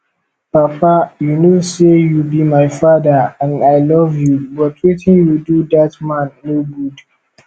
papa you know say you be my father and i love you but wetin you do dat man no good